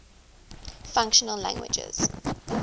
functional languages